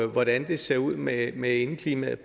hvordan det ser ud med med indeklimaet